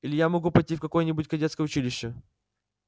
или я могу пойти в какое-нибудь кадетское училище